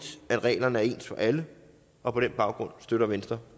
at reglerne er ens for alle og på den baggrund støtter venstre